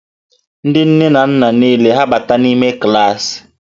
Ndị nne na nna niile hà ga-abata n'ime klaasị?